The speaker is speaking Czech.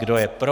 Kdo je pro?